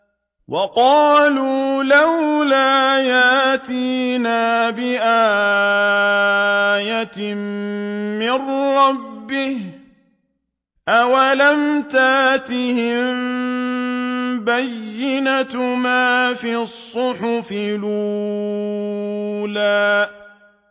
وَقَالُوا لَوْلَا يَأْتِينَا بِآيَةٍ مِّن رَّبِّهِ ۚ أَوَلَمْ تَأْتِهِم بَيِّنَةُ مَا فِي الصُّحُفِ الْأُولَىٰ